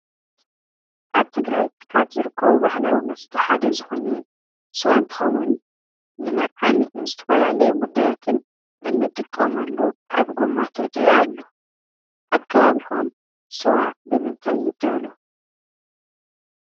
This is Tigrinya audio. ኣብ ትግራይ ካብ ዝርከቡ ባህላዊ መስተ ሓደ ዝኮነ ስዋ እንትከውን ንመርዓን ንዝተፈላለዩ ጉዳያትን እንጥቀመሉ ኣብ ጎማ ተጠይኡ ኣሎ። ኣብ ከባቢኩም ስዋ ብምንታይ ይዳሎ ?